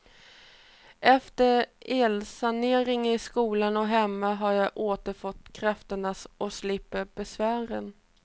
Efter elsaneringen i skolan och hemma har jag återfått krafterna och slipper besvären.